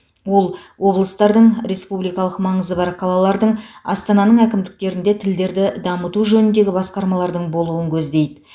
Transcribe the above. ол облыстардың республикалық маңызы бар қалалардың астананың әкімдіктерінде тілдерді дамыту жөніндегі басқармалардың болуын көздейді